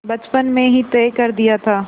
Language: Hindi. बचपन में ही तय कर दिया था